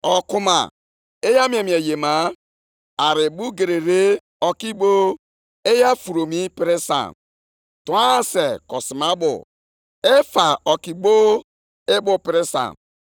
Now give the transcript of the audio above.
I sitela nʼizuzu ọjọọ gị mee ka mbibi bịakwasị ọtụtụ mmadụ, sị otu a tufuo ndụ gị, ma wetakwara ezinaụlọ gị ihere.